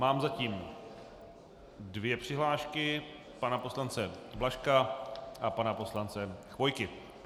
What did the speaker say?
Mám zatím dvě přihlášky - pana poslance Blažka a pana poslance Chvojky.